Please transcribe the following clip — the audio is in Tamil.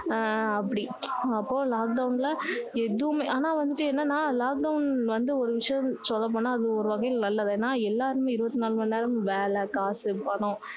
ஆஹ் அப்படி அப்போ lockdown ல எதுவுமே ஆனா வந்துட்டு என்னன்னா lockdown வந்து ஒரு விஷயம் சொல்ல போனா அது ஒரு வகைல நல்லது ஏன்னா எல்லாருமே இருபத்தி நாலு மணி நேரமும் வேலை காசு பணம்